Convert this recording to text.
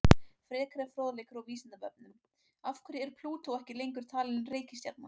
Frekari fróðleikur á Vísindavefnum: Af hverju er Plútó ekki lengur talin reikistjarna?